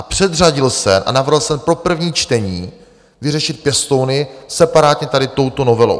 A předřadil se a navrhl jsem pro první čtení vyřešit pěstouny separátně tady touto novelou.